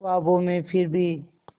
ख्वाबों में फिर भी